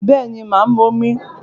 Bẹ́ẹ̀ni mà á mu omi